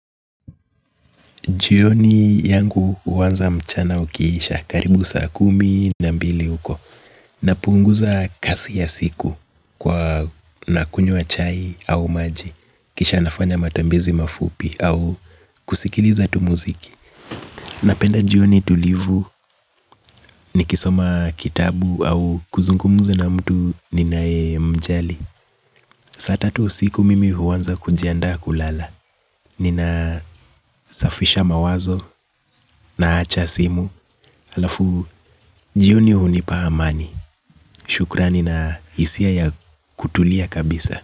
Jioni yangu huanza mchana ukiisha karibu saa kumi na mbili huko. Napunguza kasi ya siku kwa nakunywa chai au maji. Kisha nafanya matembezi mafupi au kusikiliza tu muziki. Napenda jioni tulivu nikisoma kitabu au kuzungumza na mtu ninayemjali. Saa tatu usiku mimi huanza kujiandaa kulala. Ninasafisha mawazo naacha simu. Halafu jioni hunipa amani. Shukurani na hisia ya kutulia kabisa.